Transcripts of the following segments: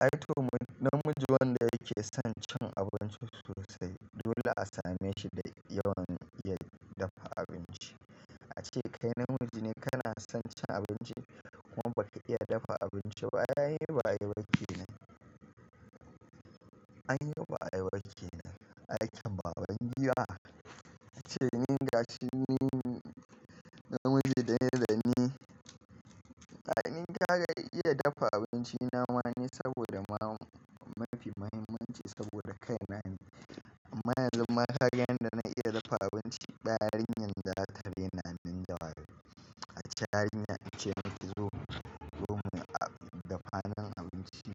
Aito namiji wanda yake son cin abinci sosai dole a same shi da yawan iya dafa abinci. Ace kai namiji ne kana son cin abinci kuma ba ka iya dafa abinci ba? An yi ba a yi ba kinan, aikin baban giwa. Ace min da shi ni namiji daya bane. Ma'aninta ka iya dafa abinci nama ne saboda mafi muhimmanci saboda kai ne. Amma ka yadda na iya dafa abinci, ba yarinyar da za ta rena nin jawali. Ace yarinya ace min ki zo gidanmu dafa min abinci,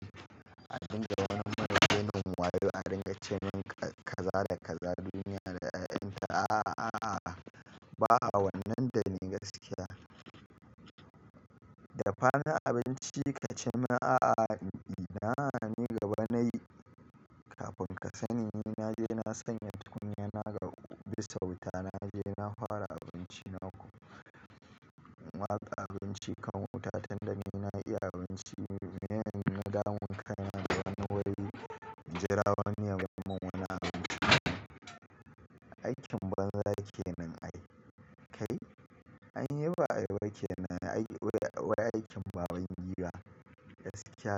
a dinga wani mana rainin wayo a dinga ce min ka za da ka za na duniya da 'ya'yan ta. A'a, a'a ba'a wannan da ni gaskiya. Dafa ni abinci ka ce min a'a, ina gaba na yi. Kafin ka sani ni na je na sanya tukunya na ga bisauta na je na fara abinci na waka abinci kan wuta tunda ni na iya abinci. Me nan ina damun kai na wani waye jira wani ya mun wani abinci. Aikin banza yake nan ai. Kai an yi ba a yi bakinan wai aikin baban gida gaskiya.